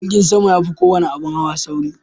Jirgin sama ya fi kowane abin hawa sauri.